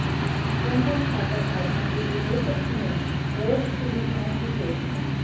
जनधन खाताधारकों के लिये हो सकती है और सुविधाओं की घोषणा